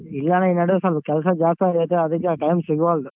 ಇಲ್ಲ ಅಣ್ಣ ಈ ನಾಡ್ವೇ ಸ್ವಲ್ಪ ಕೆಲ್ಸ ಜಾಸ್ತೀ ಅಗಾಯ್ತೆ ಅದಕ್ಕೆ time ಸಿಗ್ವಲ್ದು.